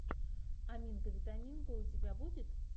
аминка витаминка у тебя будет